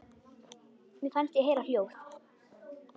Mér fannst ég heyra hljóð.